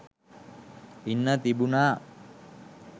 ඉන්න තිබුනා